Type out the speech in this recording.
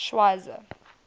schweizer